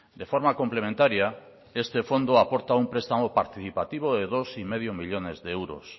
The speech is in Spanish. de forma complementaria este fondo aporta un prestamo participativo de dos y medio millónes de euros